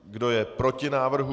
Kdo je proti návrhu?